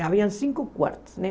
Havia cinco quartos, né?